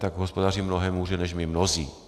Tak hospodaří mnohem hůře než my mnozí.